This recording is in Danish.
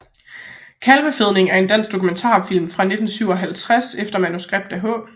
Kalvefedning er en dansk dokumentarfilm fra 1957 efter manuskript af H